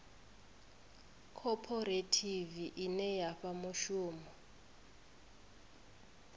khophorethivi ine ya fha mushumo